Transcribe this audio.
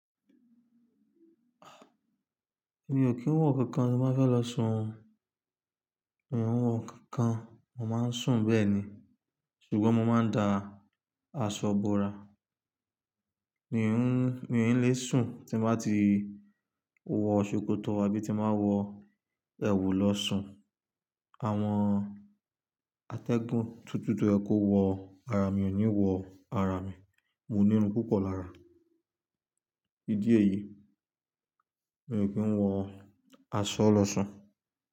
Mi ò kí ń wọ̀ kankan tí mo bá fẹ́ lọ sun, mi ò wọ̀ kankan mo máa ń sùn bẹ́ẹ̀ni. Ṣùgbọ́n mo máa ń da aṣọ bora. Mi ò ní lè sùn tí mo bá ti wọ ṣòkòtò àbí tí mo máa wọ ẹ̀wù lọ sùn. Àwọn atẹ́gùn tútù tó ẹ kó wọ ara mi ò ní wọ ara mi, mo nírun púpọ̀ lára. Ídí èyí mi ò kí ń wọ aṣọ lọ sùn.